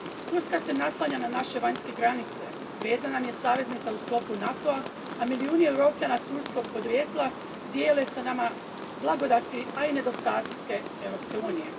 Turska se naslanja na naše vanjske granice, vrijedna nam je saveznica u sklopu NATO a, a milijuni Europljana turskog podrijetla dijele s nama blagodati, a i nedostatke Europske unije.